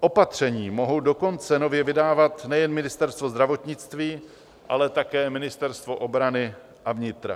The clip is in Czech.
Opatření mohou dokonce nově vydávat nejen Ministerstvo zdravotnictví, ale také ministerstva obrany a vnitra.